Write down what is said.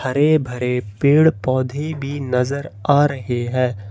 हरे भरे पेड़ पौधे भी नजर आ रहे हैं।